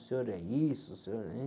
O senhor é isso? O senhor...